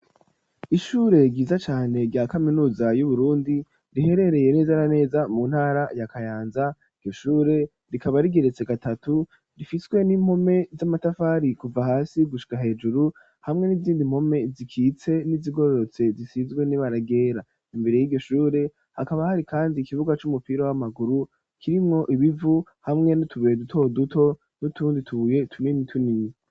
Ishure ryiza cane rya kaminuza yu Burundi, riherereye neza na neza mu ntara ya Kayanza, iryo shure rikaba rigeretse gatatu, rifiswe n'impome z'amatafari kuva hasi gushika hejuru, hamwe n'izindi mpome zikitse n'izigororotse zisizwe n'ibara ryera, imbere yiryo shure hakaba hari kandi ikibuga c'umupira w'amaguru, kirimwo ibivu hamwe n'utubuye duto duto, n'utundi tubuye tunini tunini.